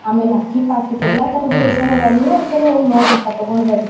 ಆಮೇಲ್ ಅಕ್ಕಿ ಪಕ್ಕಿ ಎಲ್ಲಾ ತರದ ರೇಷನ್ ಇದಾವ ನೀವು ಒಂದು ಸಲ ಹೋಗಿ ನೋಡ್ರಿ ತಗೊಂಡಬರ್ರಿ.